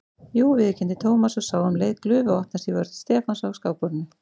Jú viðurkenndi Thomas og sá um leið glufu opnast í vörn Stefáns á skákborðinu.